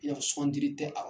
I n'a fɔ sugandili tɛ